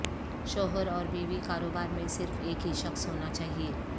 شوہر اور بیوی کاروبار میں صرف ایک ہی شخص ہونا چاہئے